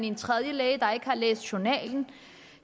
en tredje læge der ikke har læst journalen